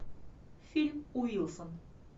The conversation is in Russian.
фильм уилсон